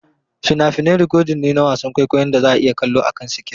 Fina-finai rikodin ne na wasan kwaikwayon da za a iya kallo akan sikirin.